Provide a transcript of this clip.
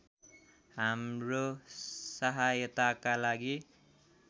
हाम्रो सहायताका लागि